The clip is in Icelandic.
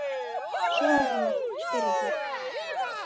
Sonur hennar? spyrja þeir.